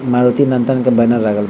मारुती नंदन के लागल बा।